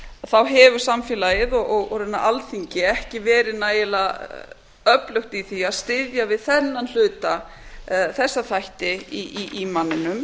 þá hefur samfélagið og raunar alþingi ekki verið nægilega öflugt í því að styðja við þessa þætti í manninum